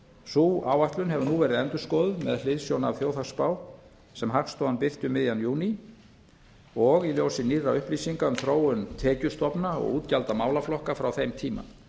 sú áætlun hefur nú verið endurskoðuð með hliðsjón af þjóðhagsspá sem hagstofan birti um miðjan júní og í ljósi nýrra upplýsinga um þróun tekjustofna og útgjalda málaflokka frá þeim tíma